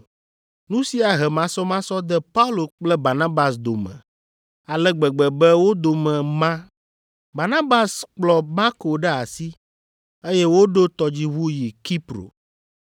Nu sia he masɔmasɔ de Paul kple Barnabas dome ale gbegbe be wo dome ma. Barnabas kplɔ Marko ɖe asi, eye woɖo tɔdziʋu yi Kipro.